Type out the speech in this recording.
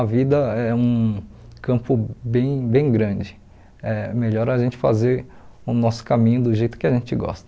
A vida é um campo bem bem grande, é melhor a gente fazer o nosso caminho do jeito que a gente gosta.